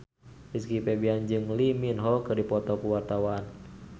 Rizky Febian jeung Lee Min Ho keur dipoto ku wartawan